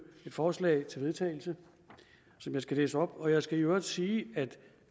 et forslag til vedtagelse som jeg skal læse op jeg skal i øvrigt sige at